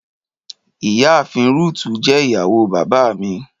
Ìyá àafin Rúutù jẹ́ ìyàwó bàbá mi.